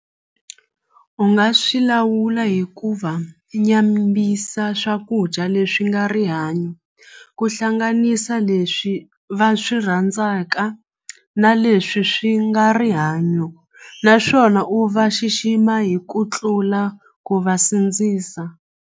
U nga swi lawula hikuva swakudya leswi nga rihanyo ku hlanganisa leswi va swi rhandzaka na leswi swi nga rihanyo naswona u va xixima hi ku tlula ku va sindzisa.